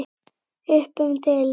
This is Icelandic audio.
Upp um deild